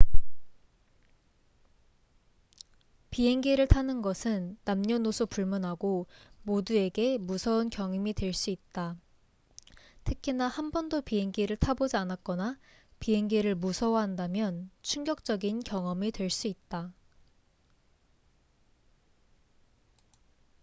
비행기를 타는 것은 남녀노소 불문하고 모두에게 무서운 경험이 될 수 있다 특히나 한 번도 비행기를 타보지 않았거나 비행기를 무서워한다면 충격적인 경험이 될 수 있다